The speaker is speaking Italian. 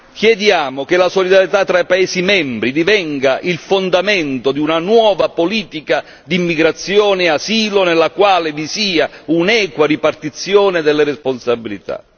Chiediamo che la solidarietà tra gli Stati membri divenga il fondamento di una nuova politica di immigrazione e asilo, nella quale vi sia un'equa ripartizione delle responsabilità.